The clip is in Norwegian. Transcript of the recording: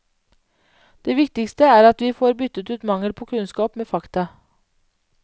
Det viktigste er at vi får byttet ut mangel på kunnskap med fakta.